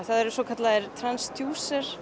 það eru svo kallaðir